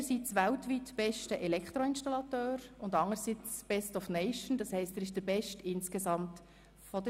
Einerseits ist er weltweit bester Elektroinstallateur und anderseits Best of Nation, als insgesamt der beste der Schweizer Teilnehmenden.